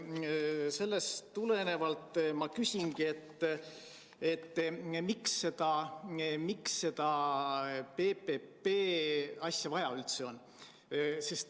Sellest tulenevalt ma küsingi, miks seda PPP lahendust üldse vaja on.